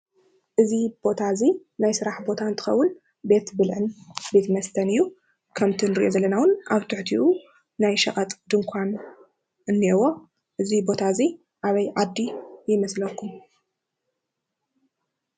እዚ ቦታ እዚ ናይ ስራሕ ቦታ እንትኸውን ቤት ብልዕን ቤት መስተን እዩ፡፡ ከምቲ ንሪኦ ዘለና እውን ኣብ ትሕቲኡ ናይ ሸቐጥ ድንዃን እኒአዎ፡፡ እዚ ቦታ እዚ ኣበይ ዓዲ ይመስለኩም?